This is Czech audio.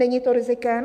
Není to rizikem?